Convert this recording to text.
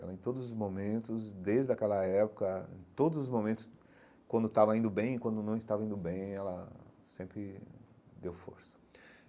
Ela em todos os momentos, desde aquela época, em todos os momentos, quando estava indo bem e quando não estava indo bem, ela sempre deu força.